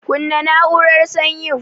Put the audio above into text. Kunna na'urar sanyin.